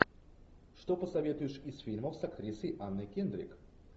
что посоветуешь из фильмов с актрисой анной кендрик